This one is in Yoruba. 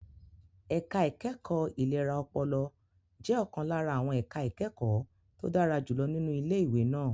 Ẹ̀ka ìkẹ́kọ̀ọ́ ìlera ọpọlọ jẹ́ ọ̀kan lára àwọn ẹ̀ka ìkẹ́kọ̀ọ́ tó dára jùlọ nínú ilé ìwé náà.